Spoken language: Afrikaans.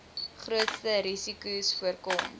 grootste risikos voorkom